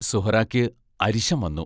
സുഹ്റായ്ക്ക് അരിശം വന്നു.